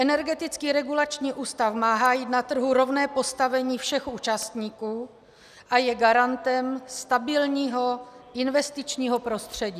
Energetický regulační úřad má hájit na trhu rovné postavení všech účastníků a je garantem stabilního investičního prostředí.